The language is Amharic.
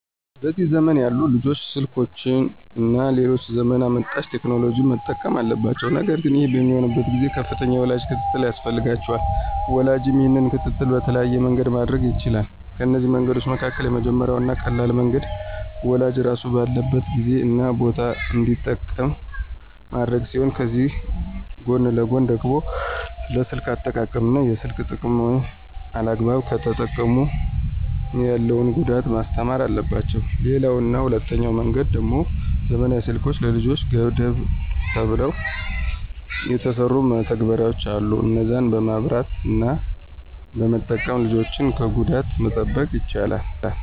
በዚህ ዘመን ያሉ ልጆች ስልኮችን እና ሌሎች ዘመን አመጣሽ ቴክኖሎጂዎችን መጠቀም አለባቸው ነገር ግን ይህ በሚሆንበት ጊዜ ከፍተኛ የወላጅ ክትትል ያስፈልጋቸዋል። ወላጅም ይህንን ክትትል በተለያየ መንገድ ማድረግ ይችላል፤ ከነዚህ መንገዶች መካከል የመጀመሪያው እና ቀላሉ መንገድ ወላጅ ራሱ ባለበት ጊዜ እና ቦታ እንዲጠቀሙ ማድረግ ሲሆን ከዚህ ጎን ለጎን ደግሞ ስለ ስልክ አጠቃቀም እና የስልክን ጥቅምና አላግባብ ከተጠቀሙ ያለውን ጉዳት ማስተማር አለባቸው። ሌላው እና ሁለተኛው መንገድ ደሞ ዘመናዊ ስልኮች ለልጆች ገደብ ተብለው የተሰሩ መተግበሪያዎች አሉ እነዛን በማብራት እና በመጠቀም ልጆችን ከጉዳት መጠበቅ ይቻላል።